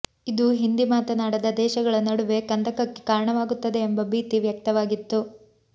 ಇದು ಹಿಂದಿ ಮಾತನಾಡದ ದೇಶಗಳ ನಡುವೆ ಕಂದಕಕ್ಕೆ ಕಾರಣವಾಗುತ್ತದೆ ಎಂಬ ಭೀತಿ ವ್ಯಕ್ತವಾಗಿತ್ತು